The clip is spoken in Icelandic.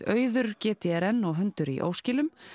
Auður g d r n og hundur í óskilum